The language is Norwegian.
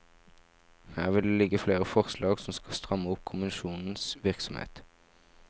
Her vil det ligge flere forslag som skal stramme opp kommisjonenes virksomhet.